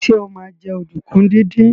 Sọ ma jẹ́ ọ̀dùnkún díndín?